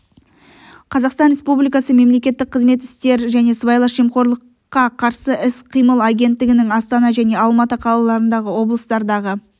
қазақстан республикасы мемлекеттік қызмет істері және сыбайлас жемқорлыққы қарсы іс-қимыл агенттігінің астана және алматы қалаларындағы облыстардағы